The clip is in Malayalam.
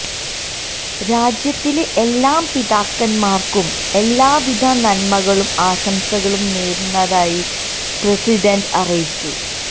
രാജ്യത്തിലെ എല്ലാ പിതാക്കന്മാര്ക്കും എല്ലാവിധ നന്മകളും ആശംസകളും നേരുന്നതായി പ്രസിഡന്റ് അറിയിച്ചു